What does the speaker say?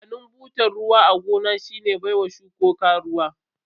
Amfanin butar ruwa a gona shine baiwa shukuko ruwa.